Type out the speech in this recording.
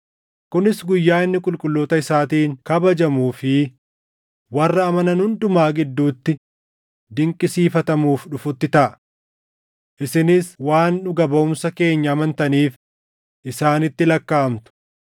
kunis guyyaa inni qulqulloota isaatiin kabajamuu fi warra amanan hundumaa gidduutti dinqisiifatamuuf dhufutti taʼa. Isinis waan dhuga baʼumsa keenya amantaniif isaanitti lakkaaʼamtu.